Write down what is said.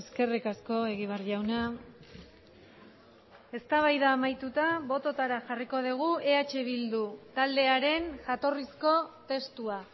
eskerrik asko egibar jauna eztabaida amaituta bototara jarriko dugu eh bildu taldearen jatorrizko testua